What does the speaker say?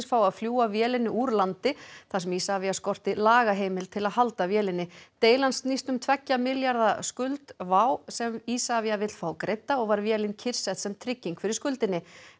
fái að fljúga vélinni úr landi þar sem Isavia skorti lagaheimild til að halda vélinni deilan snýst um tveggja milljarða skuld WOW sem Isavia vill fá greidda og var vélin kyrrsett sem trygging fyrir skuldinni